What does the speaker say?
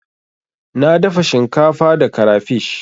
Na dafa shinkafa da karafish.